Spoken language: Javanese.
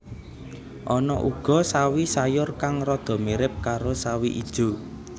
Ana uga sawi sayur kang rada mirip karo sawi ijo